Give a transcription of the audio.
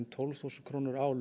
tólf þúsund krónur á